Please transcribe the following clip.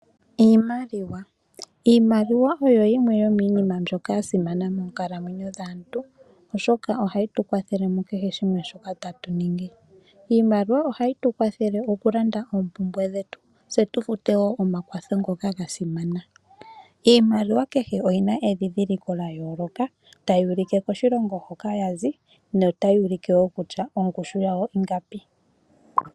Iimaliwa, iimaliwa oyo yimwe yo miinima mbyoka ya simana noonkondo moonkalamwenyo dhaantu, oshoka ohayi tukwa thele mukeshe shimwe shoka tatu ningi. Iimaliwa ohayi tu kwatheele oku landa oopumbwe dhetu niinima mbyoka ya simana. Iimaliwa kehe oyina oludhi lwa yooloka tayi ulike kosilongo hoka yazi otayi ulike woo kutya ongushu yawo ingapi.